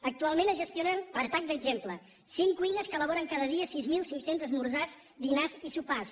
actualment es gestionen a tall d’exemple cinc cuines que elaboren cada dia sis mil cinc cents esmorzars dinars i sopars